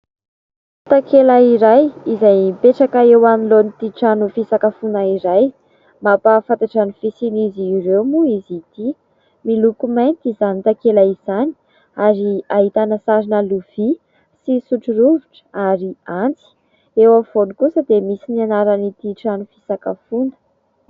Takela iray izay mipetraka eo alohan'ity trano fisakafoana iray mampahafantatra ny fisian'izy ireo moa izy ity. Miloko mainty izany takela izany ary ahitana sarina lovia sy sotro rovitra ary antsy, eo afovoany kosa dia misy ny anaran'ity trano fisakafoana.